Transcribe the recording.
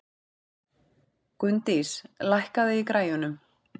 Gunndís, lækkaðu í græjunum.